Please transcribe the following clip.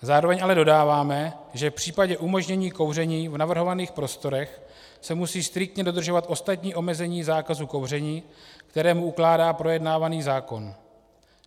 Zároveň ale dodáváme, že v případě umožnění kouření v navrhovaných prostorách se musí striktně dodržovat ostatní omezení zákazu kouření, které mu ukládá projednávaný zákon.